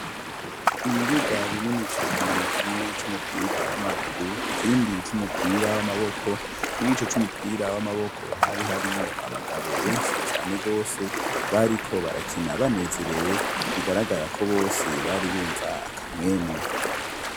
Ibibuga binini cane kimwe c'umupira w'amaguru ikindi c'umupira w'amaboko, murico c'umupira w'amaboko hari harimwo abagabo benshi cane gose bariko barakina banezerewe bigaragara ko bose bari bumva akamwemwe.